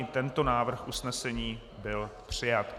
I tento návrh usnesení byl přijat.